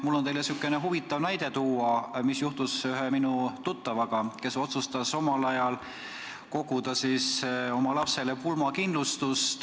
Mul on teile sihukene huvitav näide tuua, mis juhtus ühe minu tuttavaga, kes otsustas omal ajal koguda lapsele pulmakindlustust.